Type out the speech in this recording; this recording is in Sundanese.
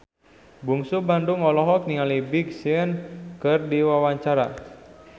Bungsu Bandung olohok ningali Big Sean keur diwawancara